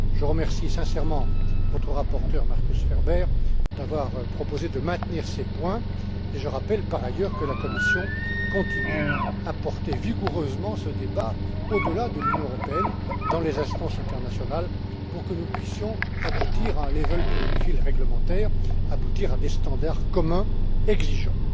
Je remercie sincèrement votre rapporteur, Markus Ferber, d'avoir proposé de maintenir ces points et je rappelle, par ailleurs, que la Commission continue à porter vigoureusement ce débat au delà de l'Union européenne, dans les instances internationales, pour que nous puissions aboutir à un level playing field réglementaire, aboutir à des standards communs exigeants.